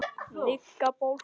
Maður kýlist upp.